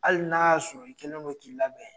Hali n'a y'a sɔrɔ i kɛlen don k'i labɛn.